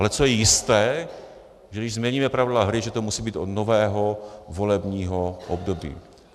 Ale co je jisté, že když změníme pravidla hry, že to musí být od nového volebního období.